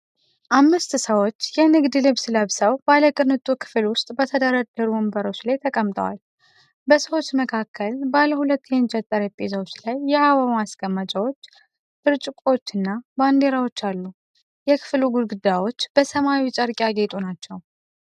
አምስት ሰዎች የንግድ ልብስ ለብሰው ባለቅንጡ ክፍል ውስጥ በተደረደሩ ወንበሮች ላይ ተቀምጠዋል። በሰዎች መካከል ባሉ ሁለት የእንጨት ጠረጴዛዎች ላይ የአበባ ማስቀመጫዎች፣ ብርጭቆዎችና ባንዲራዎች አሉ። የክፍሉ ግድግዳዎች በሰማያዊ ጨርቅ ያጌጡ ናቸው።